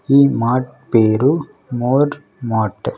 ఈ మార్ట్ పేరు More Mart .